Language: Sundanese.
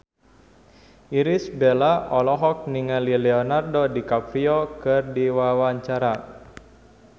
Irish Bella olohok ningali Leonardo DiCaprio keur diwawancara